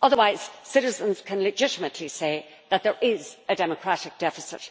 Otherwise, citizens can legitimately say that there is a democratic deficit.